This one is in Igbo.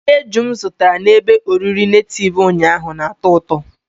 Nri eju m zụtara na ebe oriri nativu ụnyaahụ na-atọ ụtọ.